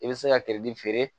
I bɛ se ka feere